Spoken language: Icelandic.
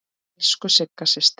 Elsku Sigga systir.